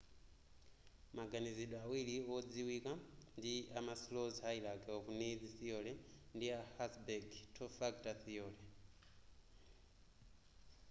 maganizidwe awiri wodziwika ndi a maslows hierachy of needs theory ndi a hertzberg two factor theory